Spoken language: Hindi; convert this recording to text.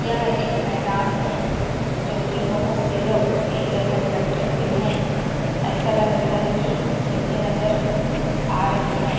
यह एक मैदान है जोकी बहोत से लोग एक जगह इक्कठे हुए है ऐसा लग रहा है की खेलते नज़र आ रहे है।